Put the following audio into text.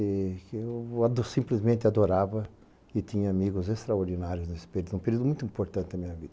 Eu simplesmente adorava e tinha amigos extraordinários nesse período, um período muito importante na minha vida.